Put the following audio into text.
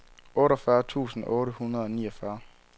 otteogfyrre tusind otte hundrede og niogfyrre